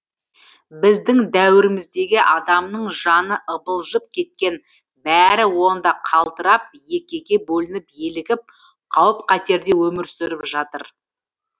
біздің дәуіріміздегі адамның жаны ыбылжып кеткен бәрі онда қалтырап екіге бөлініп елігіп қауіп қатерде өмір сүріп жатыр